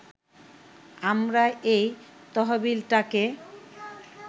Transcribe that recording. আমরা এই তহবিলটাকে